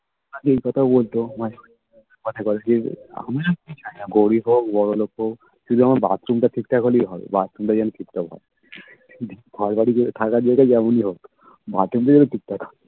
তুমি ঐ কথাই বলছো আমার কিছু চাই না গরিব হোক বড়োলোক হোক শুধু আমার bathroom টা ঠিকঠাক হলেই হয় bathroom টা যেন ঠিকঠাক হয় ঘর বাড়ি থাকার জায়গা যেমনি হোক bathroom টা যেন ঠিকঠাক থাকে